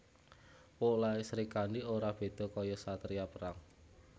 Polahe Srikandhi ora beda kaya satriya perang